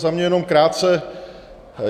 Za mě jenom krátce.